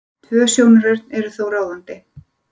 Tvö sjónarhorn eru þó ráðandi.